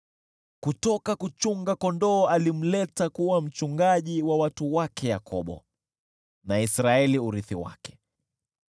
Kutoka kuchunga kondoo alimleta kuwa mchungaji wa watu wake Yakobo, wa Israeli urithi wake.